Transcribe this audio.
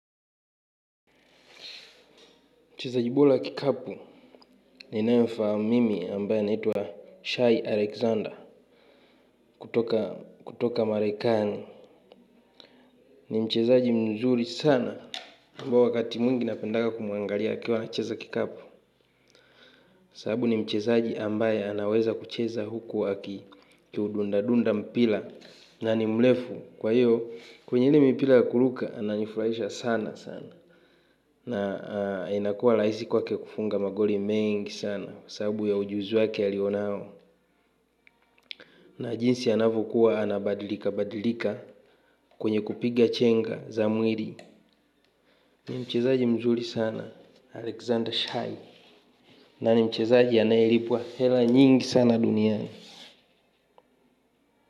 Mchezaji bola wa kikapu ninayemfahamu mimi ambaye anayeitwa Shai Alexander kutoka Marekani. Ni mchezaaji mzuri sana ambao wakati mwingi napendaga kumuangalia akiwa anacheza kikapu. Sabu ni mchezaji ambaye anaweza kucheza huku aki kiudunda dunda mpila. Na ni mlefu kwa hiyo kwenye hili mpila ya kuruka ananifurahisha sana sana. Na inakua laisi kwake kufunga magoli mengi sana sabu ya ujuzi wake alionao. Na jinsi anavyokuwa anabadilika badilika kwenye kupiga chenga za mwiri ni mchezaji mzuri sana, Alexander Shai. Na ni mchezaji anayeripwa hela nyingi sana duniani.